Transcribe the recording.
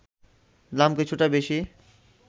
দাম কিছুটা বেশি